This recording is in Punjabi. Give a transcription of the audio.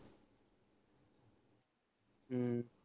ਹਮ